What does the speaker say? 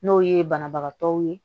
N'o ye banabagatɔw ye